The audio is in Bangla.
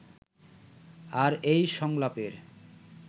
আর এই সংলাপের